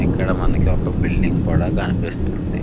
ఇక్కడ మనకు ఒక బిల్డింగ్ కూడా కనిపిస్తుంది.